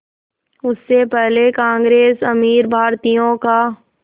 उससे पहले कांग्रेस अमीर भारतीयों का